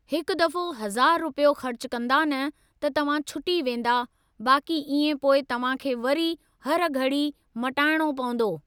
हिकु दफ़ो हज़ार रुपियो ख़र्चु कंदा न त तव्हां छुटी वेंदा बाक़ी इएं पोइ तव्हां खे वरी हर घड़ी मटाइणो पवंदो।